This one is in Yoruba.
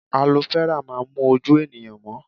Alo fẹ́rà máa ń mú ojú ènìyàn mọ́